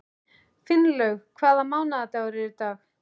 Finnlaug, hvaða mánaðardagur er í dag?